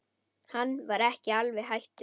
Hann var ekki alveg hættur.